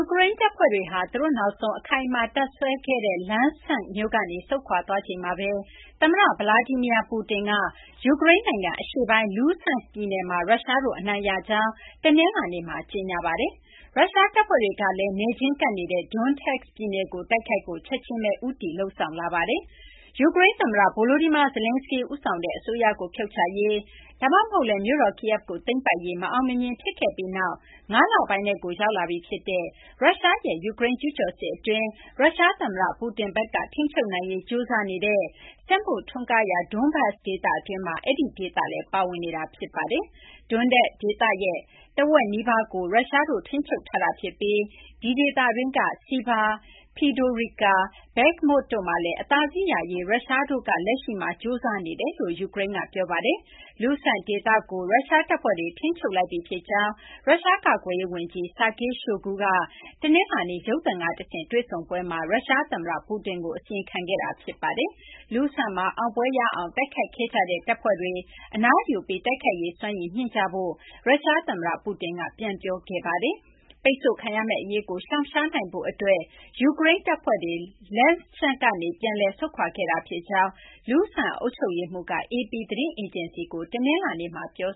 ကရိန်း တပ်ဖွဲ့တွေဟာ သူတို့ နောက်ဆုံး အခိုင်အမာ တပ်စွဲခဲ့တဲ့ Lysychansk မြို့ကနေ ဆုတ်ခွာသွားချိန်မှာပဲ သမ္မတ Vladimir Putin က ယူကရိန်း နိုင်ငံ အရှေ့ပိုင်း Luhansk ပြည်နယ်မှာ ရုရှားတို့ အနိုင်ရကြောင်း တနလာၤနေ့မှာ ကြေညာလိုက်ပါတယ်။ ရုရှားတပ်ဖွဲ့တွေ ကလည်း နယ်ချင်းကပ်နေတဲ့ Donetsk ပြည်နယ်ကို တိုက်ခိုက်ဖို့ ချက်ချင်းပဲ ဦးတည်လုပ်ဆောင် လာပါတယ်။ ယူကရိန်း သမ္မတ Volodymyr Zelenskyy ဦးဆောင်တဲ့ အစိုးရကို ဖြုတ်ချရေး ဒါမှမဟုတ်လည်း မြို့တော် Kyiv ကို သိမ်းပိုက်ရေး မအောင်မမြင် ဖြစ်ခဲ့ပြီးနောက် ၅ လပိုင်းထဲကို ရောက်လာပြီ ဖြစ်တဲ့ ရုရှားရဲ့ ယူကရိန်း ကျူးကျော်စစ်အတွင်း ရုရှား သမ္မတ Putin ဘက်က ထိန်းချုပ်နိုင်ရေး ကြိုးစားနေတဲ့ စက်မှုထွန်းကားရာ Donbas ဒေသတွင်းမှာ ဒီဒေသလည်း ပါဝင်နေတာလည်း ဖြစ်ပါတယ်။ Donetsk ဒေသရဲ့ တဝက်နီးပါးကို ရုရှားတို့ ထိန်းချုပ်ထားဖြစ်ပြီး ဒီဒေသတွင်းက Siversk, Fedorivka နဲ့ Bakhmut တို့မှာ အသာစီးရရေး အတွက် ရုရှားတို့ဘက်က လက်ရှိမှာ ကြိုးစားနကြောင်း ယူကရိန်းက ပြောပါတယ်။ Luhansk ဒေသကို ရုရှား တပ်ဖွဲ့တွေ ထိန်းချုပ်လိုက်ပြီး ဖြစ်ကြောင်း ရုရှား ကာကွယ်ရေး ဝန်ကြီး Sergei Shoigu က တနလာၤနေ့ ရုပ်သံက တဆင့် တွေ့ဆုံပွဲမှာ ရုရှား သမ္မတ Putin ကို အစီရင်ခံခဲ့တာ ဖြစ်ပါတယ်။ Luhansk မှာ အောင်ပွဲရအောင် တိုက်ခိုက်ခဲ့ကြတဲ့ တပ်ဖွဲ့တွေ အနားယူပြီး တိုက်ခိုက်ရေး စွမ်းရည် မြှင့်ကြဖို့လည်း ရုရှား သမ္မတ Putin က ပြန်လည် ပြောဆိုခဲ့ပါတယ်။ ပိတ်ဆို့ခံရမယ့် အရေးကို ရှောင်နိုင်ဖို့ အတွက် ယူကရိန်း တပ်ဖွဲ့တွေ Lysychansk ကနေ ပြန်လည် ဆုတ်ခွာခဲ့ကြောင်း Luhansk အုပ်ချုပ်ရေးမှူး Serhiy Haidai က AP သတင်း အေဂျင်စီကို တနလာၤနေ့မှာ ပြော